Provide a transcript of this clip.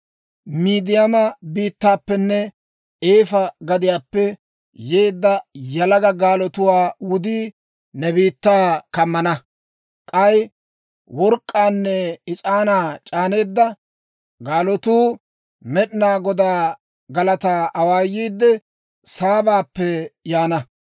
Midiyaama biittaappenne Eefa gadiyaappe yeedda yalaga gaalotuwaa wudii ne biittaa kammana. K'ay work'k'aanne is'aanaa c'aaneteedda gaalotuu Med'inaa Godaa galataa awaayiidde, Saabappe yaana.